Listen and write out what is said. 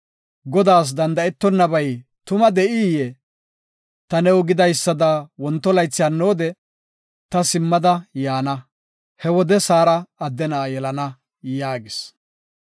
Godaas danda7etonabay tuma de7iyee? Ta new gidaysada wonto laythi hannoode ta simmada yaana; he wode Saara adde na7a yelana” yaagis.